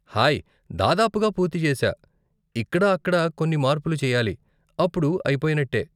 Hi, దాదాపుగా పూర్తి చేశా, ఇక్కడా అక్కడా కొన్ని మార్పులు చెయ్యాలి, అప్పుడు అయిపోయినట్టే.